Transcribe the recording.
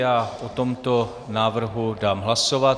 Já o tomto návrhu dám hlasovat.